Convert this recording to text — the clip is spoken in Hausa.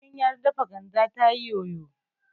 tukunyar dafa ganda tana yoyo